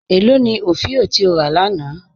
Ẹ lọ ni ofíò ti o rà lána?